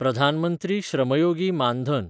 Pradhan Mantri Shram Yogi Maandhan